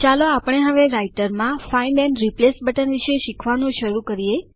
ચાલો આપણે હવે રાઈટરમાં ફાઇન્ડ એન્ડ રિપ્લેસ બટનના વિશે શીખવાનું શરૂ કરીએ